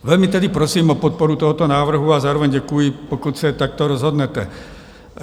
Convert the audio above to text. Velmi tedy prosím o podporu tohoto návrhu a zároveň děkuji, pokud se takto rozhodnete.